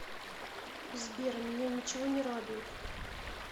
сбер меня ничего не радует